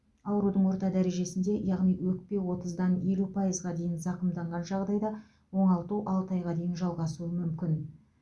аурудың орта дәрежесінде яғни өкпе отыздан елу пайызға дейін зақымданған жағдайда оңалту алты айға дейін жалғасуы мүмкін